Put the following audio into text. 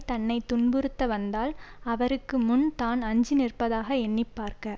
தன்னை துன்புறுத்த வந்தால் அவருக்கு முன் தான் அஞ்சி நிற்பதாக எண்ணி பார்க்க